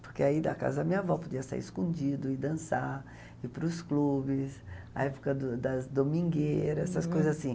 Porque aí da casa da minha avó podia sair escondido e dançar, ir para os clubes, na época do das domingueiras, essas coisas assim.